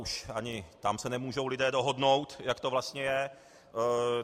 Už ani tam se nemůžou lidé dohodnout, jak to vlastně je.